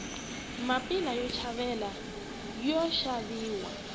mapila yo chayela yoxaviwa